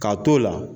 K'a t'o la